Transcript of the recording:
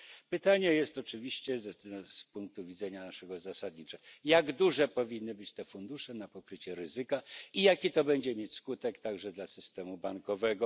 Pytanie jest oczywiście z naszego punktu widzenia zasadnicze jak duże powinny być fundusze na pokrycie ryzyka i jaki to będzie mieć skutek także dla systemu bankowego?